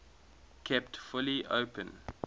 kept fully open